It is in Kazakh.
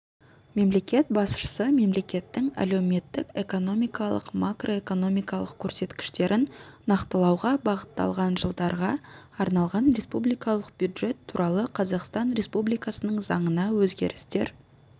мемлекет басшысы мемлекеттің әлеуметтік-экономикалық макроэкономикалық көрсеткіштерін нақтылауға бағытталған жылдарға арналған республикалық бюджет туралы қазақстан республикасының заңына өзгерістер